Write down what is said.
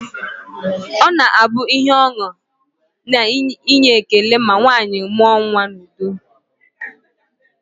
Ọ na-abụ ihe ọṅụ na inye ekele ma nwaanyị mụọ nnwa n'udo